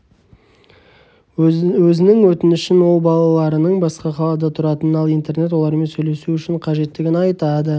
өзінің өтінішін ол балаларының басқа қалада тұратынын ал интернет олармен сөйлесу үшін қажеттігін айтады